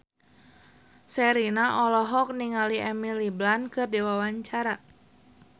Sherina olohok ningali Emily Blunt keur diwawancara